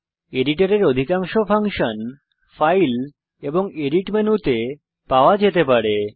এডিটরের অধিকাংশ function file এবং edit মেনুতে পাওয়া যেতে পারে